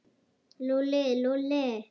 Lúlli, Lúlli.